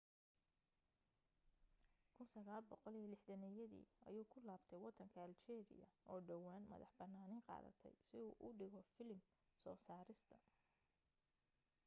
1960yadii ayuu ku laabtay waddanka aljeeriya oo dhowaan madax bannaani qaadatay si uu u dhigo filim soo saarista